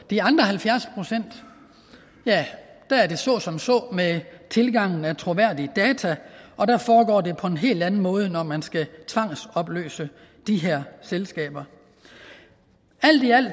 de andre halvfjerds procent er det så som så med tilgangen af troværdige data og der foregår det på en helt anden måde når man skal tvangsopløse de her selskaber alt i alt